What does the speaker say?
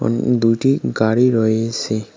উঃ দুটি গাড়ি রয়েসে।